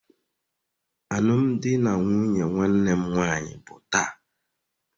Alụmdi na nwunye nwanne m nwanyị bụ taa.